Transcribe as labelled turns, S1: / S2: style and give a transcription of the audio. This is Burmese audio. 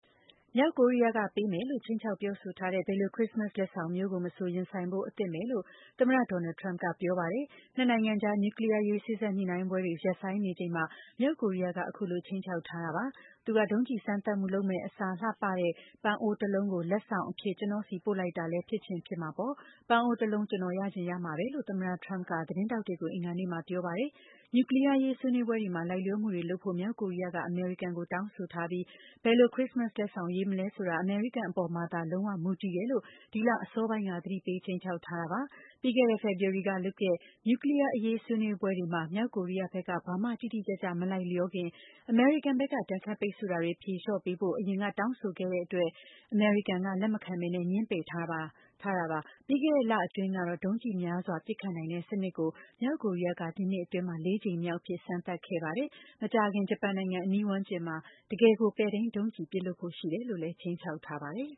S1: မြောက်ကိုရီးယားက ပေးမယ်လို့ ခြိမ်းခြောက်ပြောဆိုထားတဲ့ ဘယ်လို “ခရစ္စမတ်စ် လက်ဆောင်” မျိုးကိုမဆို ရင်ဆိုင်ဖို့ အဆင်သင့်ပဲလို့ သမ္မတ ဒေါ်နယ်လ်ဒ် ထရမ့်ပ်က ပြောပါတယ်။ နှစ်နိုင်ငံအကြား နျူကလီးယားအရေး စေ့စပ်ညှိနှိုင်းပွဲတွေ ရပ်ဆိုင်းနေချိန်မှာ မြောက်ကိုရီးယားက အခုလို ခြိမ်းခြောက်ထားတာပါ။ “သူက ဒုံးကျည်စမ်းသပ်မယ့်အစား လှပတဲ့ ပန်းအိုးတလုံးကို လက်ဆောင်အဖြစ် ကျနော့််ဆီပို့လိုက်တာလည်း ဖြစ်ချင်ဖြစ်မှာပေါ့၊ ပန်းအိုးတလုံး ကျနော် ရချင်ရမှာပဲ” လို့ သမ္မတထရမ့်ပ်က သတင်းထောက်တွေကို အင်္ဂါနေ့မှာပြောပါတယ်။ နျူကလီးယားအရေး ဆွေးနွေးပွဲတွေမှာ လိုက်လျော်မှုတွေလုပ်ဖို့ မြောက်ကိုရီးယားက အမေရိကန်ကို တောင်းဆိုထားပြီး ဘယ်လို ခရစ္စမတ်လက်ဆောင် ကို ရွေးမလဲဆိုတာ အမေရိကန်အပေါ်မှာသာ လုံးဝမူတည်တယ်လို့ ဒီလအစောပိုင်းက သတိပေး ခြိမ်းခြောက်ထားတာပါ။ ပြီးခဲ့တဲ့ ဖေဖော်ဝါရီလကလုပ်တဲ့ နျူကလီးယားအရေး ဆွေးနွေးပွဲတွေမှာ မြောက်ကိုရီးယားဘက်က ဘာမှ တိတိကျကျ မလိုက်လျောခင် အမေရိကန်ဘက်က ဒဏ်ခတ်ပိတ်ဆို့ထားတာတွေကို ဖြေလျော့ပေးဖို့ အရင် တောင်းဆိုခဲ့တဲ့အတွက် အမေရိကန်က လက်မခံငြင်းပယ်ထားတာပါ။ ပြီးခဲ့တဲ့လအတွင်းကတော့ ဒုံးကျည်များစွာ ပစ်ခတ်နိုင်တဲ့စနစ်ကို မြောက်ကိုရီးယားက ဒီနှစ်အတွင်း ၄ ကြိမ်မြောက်အဖြစ် စမ်းသပ်ခဲ့ပါတယ်။ မကြာခင် ဂျပန်နိုင်ငံ အနီးဝန်းကျင်မှာ တကယ်ကို ပဲ့ထိန်းဒုံးကျည် ပစ်လွှတ်ဖို့
S2: ရှိတယ်လို့လည်း ခြိမ်းခြောက်ထားပါတယ်။